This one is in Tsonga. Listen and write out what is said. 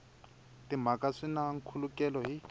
timhaka swi na nkhulukelano hi